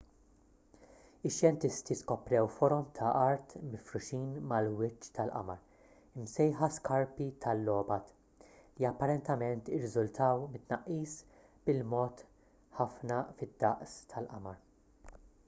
ix-xjentisti skoprew forom ta' art mifruxin mal-wiċċ tal-qamar imsejħa skarpi tal-lobat li apparentement irriżultaw mit-tnaqqis bil-mod ħafna fid-daqs tal-qamar